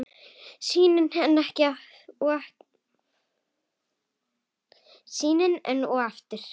Sýnin enn og aftur.